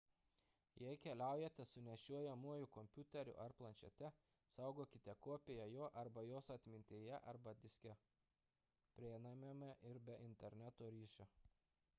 jei keliaujate su nešiojamuoju kompiuteriu ar planšete saugokite kopiją jo arba jos atmintyje arba diske prieinamame ir be interneto ryšio